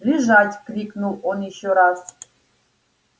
лежать крикнул он ещё раз